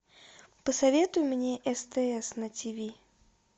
посоветуй мне стс на ти ви